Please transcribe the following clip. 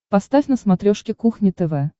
поставь на смотрешке кухня тв